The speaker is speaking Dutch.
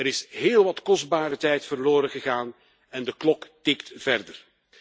Er is heel wat kostbare tijd verloren gegaan en de klok tikt verder.